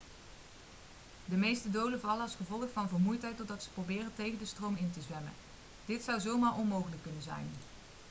de meeste doden vallen als gevolg van vermoeidheid doordat ze proberen tegen de stroom in te zwemmen dit zou zomaar onmogelijk kunnen zijn